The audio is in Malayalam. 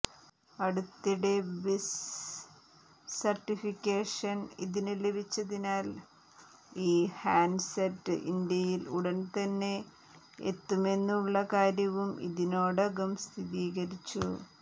അടുത്തിടെ ബിസ് സർട്ടിഫിക്കേഷൻ ഇതിന് ലഭിച്ചതിനാൽ ഈ ഹാൻഡ്സെറ്റ് ഇന്ത്യയിൽ ഉടൻതന്നെ എത്തുമെന്നുള്ള കാര്യവും ഇതിനോടകം സ്ഥിരീകരിച്ചു